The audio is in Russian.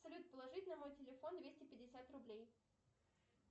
салют положить на мой телефон двести пятьдесят рублей